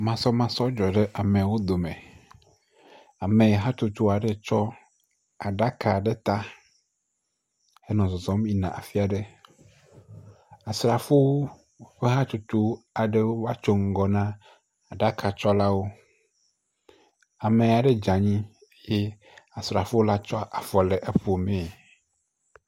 Masɔmasɔ dzɔ ɖe amewo dome. Ame hatsotso aɖe tsɔ aɖaka ɖe ta henɔ zɔzɔm yina afi aɖe. Asrafowo ƒe hatsotso aɖewo vatso ŋgɔ na aɖakatsɔlawo. Ame aɖe dze anyi ye Asrafola tsɔ afɔ le efom